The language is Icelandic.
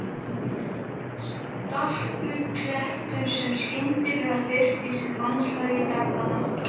Stakur klettur sem skyndilega birtist í landslagi daganna.